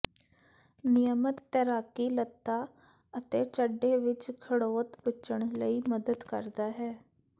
ਨਿਯਮਤ ਤੈਰਾਕੀ ਲਤ੍ਤਾ ਅਤੇ ਚੱਡੇ ਵਿੱਚ ਖੜੋਤ ਬਚਣ ਲਈ ਮਦਦ ਕਰਦਾ ਹੈ